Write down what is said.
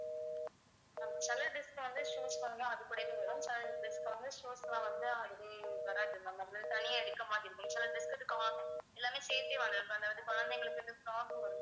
அஹ் சில dress க்கு வந்து shoes வந்து அது கூடவே வரும் சில dress க்கு வந்து shoes லாம் வந்து அதுவே வராது ma'am தனியா எடுக்க மாதிரி இருக்கும் சில dress க்கு அது எல்லாமே சேர்த்தே வாங்குறோம் அதாவது குழந்தைங்களுக்கு வந்து frock வரும்